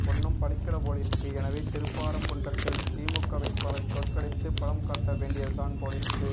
ஒன்னும் பலிக்கலேபோலிருக்கு எனவே திருப்பாராம் குன்றத்தில் திமுகவேட்பாளரை தோற்கடித்து பலம் காட்ட வேண்டியதுதான் போலிருக்கு